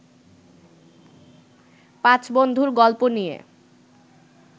পাঁচ বন্ধুর গল্প নিয়ে